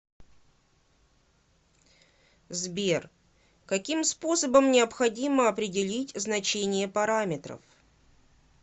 сбер каким способом необходимо определить значение параметров